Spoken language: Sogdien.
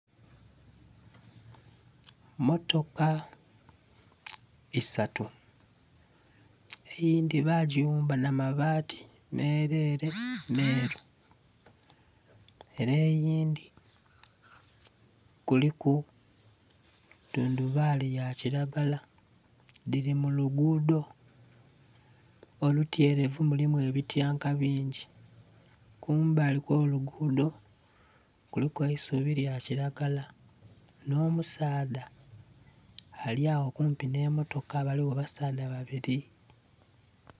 Motoka isatu eyindhi bagighumba nha mabati merere meru ere eyindhi kuliku tundhubali ya kilagala dhiri mu lugudho olutyerevu mulimu ebityanka bingi. Kumbali kwo olugudho, kuliku eisubi lya kilagala nho musaadha ali agho kumpi nhe motoka baligho basaadha babiri.